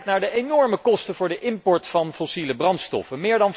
Kijk naar de enorme kosten voor de import van fossiele brandstoffen.